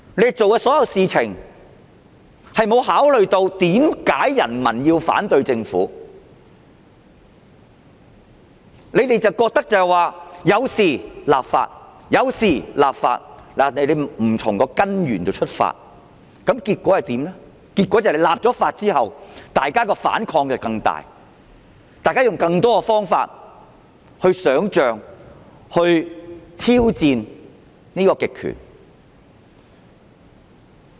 政府做的所有事情並無考慮為何人民要反對政府，只是覺得有事就要立法，並沒有從根源出發，結果是立法後反抗更大，大家用更多方法想象和挑戰極權。